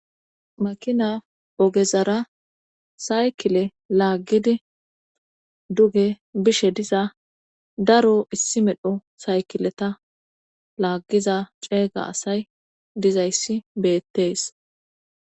makina ogezara saykile laaggidi duge bishe diza daro issi medho saykileta laaggiza ceega asay dizayssi beettees